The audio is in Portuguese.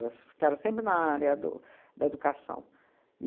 Elas ficaram sempre na área do da educação.